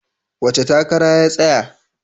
Wace takara ya tsaya?